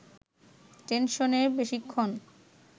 টেনশনে বেশিক্ষণ